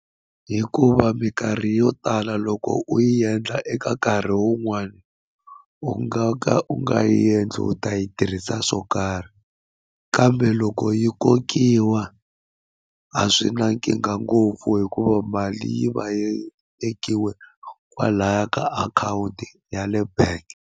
Hikuva minkarhi yo tala loko u yi endla eka nkarhi wun'wani u nga ka u nga yi endli u ta yi tirhisa swo karhi kambe loko yi kokiwa a swi na nkingha ngopfu hikuva mali yi va yi tekiwe kwalaya ka akhawunti ya le bank.